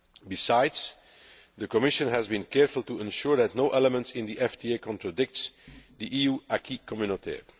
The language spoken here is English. Besides, the Commission has been careful to ensure that no element in the FTA contradicts the EU acquis communautaire